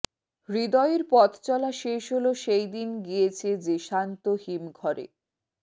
হৃদয়ের পথচলা শেষ হল সেই দিন গিয়েছে যে শান্ত হিম ঘরে